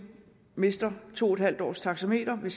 mister to en halv års taxameterpenge